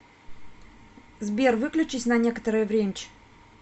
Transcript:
сбер выключись на некторое времч